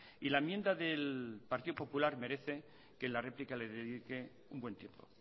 y la enmienda del partido popular merece que en la réplica le dedique un buen tiempo